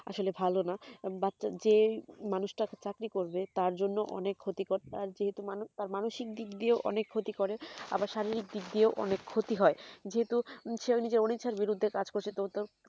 আসলে ভালো না but যেই মানুষ টা চাকরি করবে তার জন্য অনেক ক্ষতিকর তার মানুষিক দিক দিয়েও অনেক ক্ষতি করে আবার শারীরিক দিক দিয়েও অনেক ক্ষতি হয় যেহুতু সে নিজের অনিচ্ছার বিরুদ্ধে কাজ করছে তো তো